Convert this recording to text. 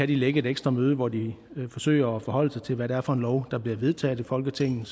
de lægge et ekstra møde hvor de forsøger at forholde sig til hvad det er for en lov der bliver vedtaget i folketinget